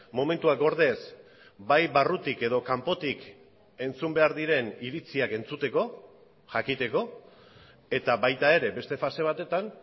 momentuak gordez bai barrutik edo kanpotik entzun behar diren iritziak entzuteko jakiteko eta baita ere beste fase batetan